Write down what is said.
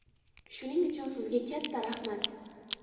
Shuning uchun, sizga katta rahmat.